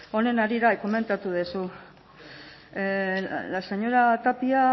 honen harira komentatu duzu la señora tapia